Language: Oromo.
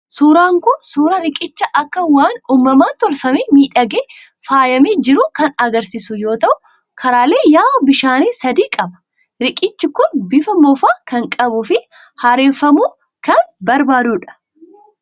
Suuraan Kun, suuraa riqicha akka waan uumamaan tolfamee, miidhagee, faayamee jiruu kan argisiisu yoo ta'u, karaalee yaa'a bishaanii sadii qaba. Riqichi Kun bifa moofaa kan qabuu fi haareffamuu kan barbaaduudha.